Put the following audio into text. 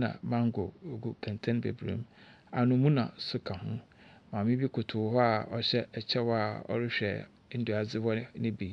na mango gu nkɛntɛn bebree mu. Anamuna so ka ho. Maame bi koto hɔ a ɔhyɛ ɛkyɛw a ɔrehwɛ ndua adziwa no bi.